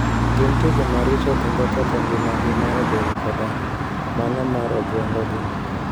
Gin tije maricho kendo ketho ngimagi mar del koda mano mar obwongo gi